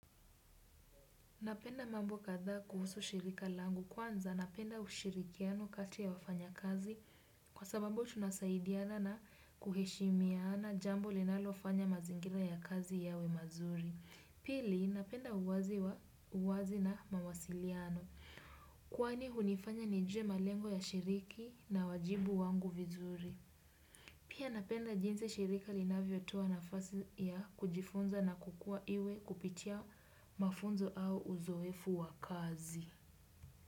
Napenda mambo kadhaa kuhusu shirika langu kwanza napenda ushirikiano kati ya wafanya kazi kwa sababu tunasaidiana na kuheshimiana jambo linalofanya mazingira ya kazi yawe mazuri. Pili napenda uwazi na mawasiliano kwani hunifanya nijue malengo ya shiriki na wajibu wangu vizuri. Pia napenda jinsi shirika linavyotoa nafasi ya kujifunza na kukua iwe kupitia mafunzo au uzoefu wa kazi.